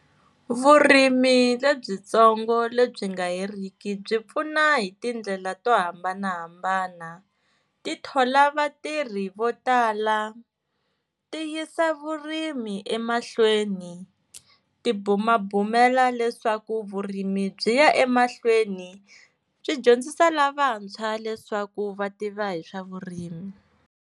Vurimi lebyitsongo lebyi nga heriki byi pfuna hi tindlela to hambanahambana, ti thola vatirhi vo tala, ti yisa vurimi emahlweni, ti bumabumela leswaku vurimi byi ya emahlweni, swi dyondzisa lavantshwa leswaku va tiva hi swa vurimi.